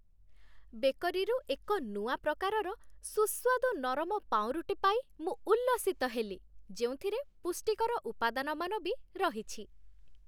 ବେକରିରୁ ଏକ ନୂଆ ପ୍ରକାରର ସୁସ୍ୱାଦୁ ନରମ ପାଉଁରୁଟି ପାଇ ମୁଁ ଉଲ୍ଲସିତ ହେଲି, ଯେଉଁଥିରେ ପୁଷ୍ଟିକର ଉପାଦାନମାନ ବି ରହିଛି।